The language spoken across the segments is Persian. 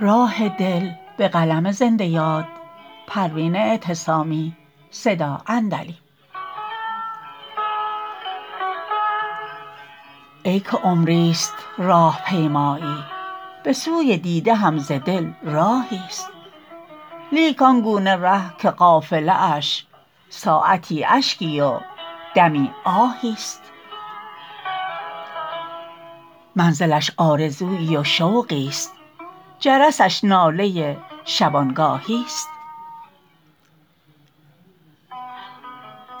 ای که عمریست راه پیمایی بسوی دیده هم ز دل راهی است لیک آنگونه ره که قافله اش ساعتی اشکی و دمی آهی است منزلش آرزویی و شوقی است جرسش ناله شبانگاهی است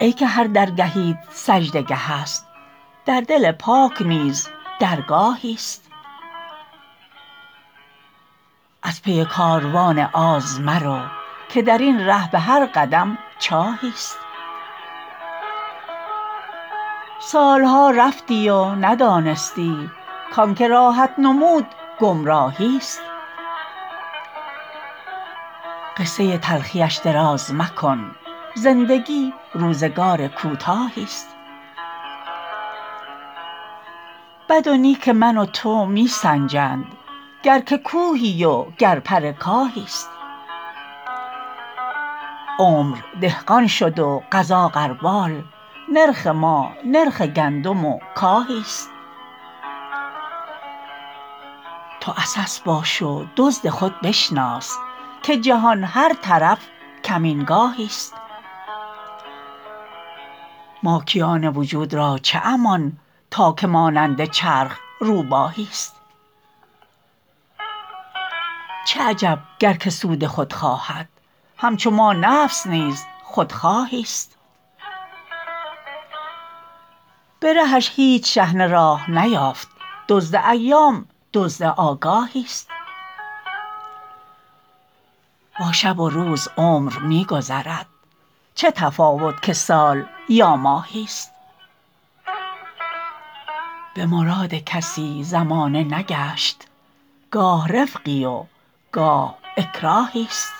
ای که هر درگهیت سجده گهست در دل پاک نیز درگاهی است از پی کاروان آز مرو که درین ره بهر قدم چاهی است سالها رفتی و ندانستی کانکه راهت نمود گمراهی است قصه تلخیش دراز مکن زندگی روزگار کوتاهی است بد و نیک من و تو می سنجند گر که کوهی و گر پر کاهی است عمر دهقان شد و قضا غربال نرخ ما نرخ گندم و کاهی است تو عسس باش و دزد خود بشناس که جهان هر طرف کمینگاهی است ماکیان وجود را چه امان تا که مانند چرخ روباهی است چه عجب گر که سود خود خواهد همچو ما نفس نیز خودخواهی است به رهش هیچ شحنه راه نیافت دزد ایام دزد آگاهی است با شب و روز عمر میگذرد چه تفاوت که سال یا ماهی است بمراد کسی زمانه نگشت گاهی رفقی و گاه اکراهی است